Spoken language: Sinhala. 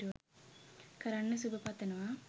කරන්න සුබ පතනවා